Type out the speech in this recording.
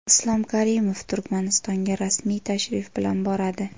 Islom Karimov Turkmanistonga rasmiy tashrif bilan boradi.